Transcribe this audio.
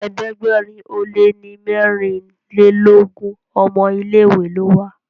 ẹ̀ẹ́dẹ̀gbẹ̀rin o lẹ ní merinlelogun ọmọ ilé ìwé ló wà.